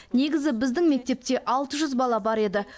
негізі біздің мектепте алты жүз бала бар еді